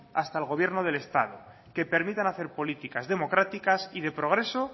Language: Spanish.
hasta el gobierno del estado que permitan hacer políticas democráticas y de progreso